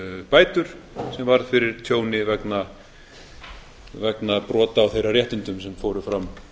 bætur sem varð fyrir tjóni vegna brota á þeirra réttindum fóru fram fram